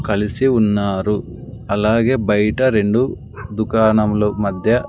కలిసి ఉన్నారు అలాగే బయట రెండు దుకాణములు మధ్య --